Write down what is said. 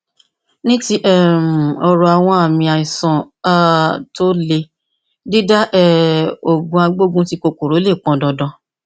ní ti um ọrọ àwọn àmì àìsàn um tó le dídá um òògùn agbógunti kòkòrò lè pọn dandan